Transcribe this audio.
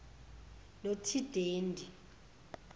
notidendi